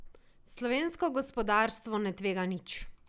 Slovensko gospodarstvo ne tvega nič.